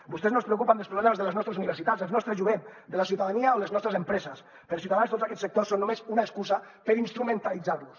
vostès no es preocupen dels problemes de les nostres universitats del nostre jovent de la ciutadania o les nostres empreses per a ciutadans tots aquests sectors són només una excusa per instrumentalitzar los